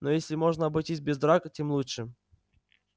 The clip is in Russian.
но если можно обойтись без драк тем лучше